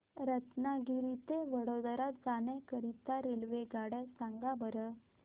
रत्नागिरी ते वडोदरा जाण्या करीता रेल्वेगाड्या सांगा बरं